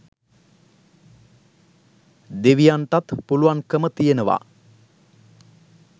දෙවියන්ටත් පුළුවන්කම තියෙනවා